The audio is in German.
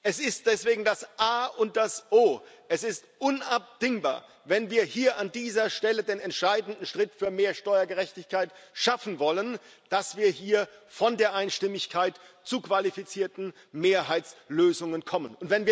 Es ist deswegen das A und das O, es ist unabdingbar wenn wir hier an dieser Stelle den entscheidenden Schritt für mehr Steuergerechtigkeit schaffen wollen dass wir hier von der Einstimmigkeit zu qualifizierten Mehrheitslösungen kommen.